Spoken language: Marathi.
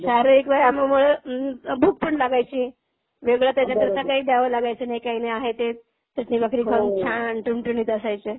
शारीरिक व्यायामामुळे भूक पण लागायची. वेगळं त्याच्याकरता काही द्यावं लागायचं नाही काही नाही आहे ते चटणी भाकरी खाऊन छान ठणठणीत असायचे.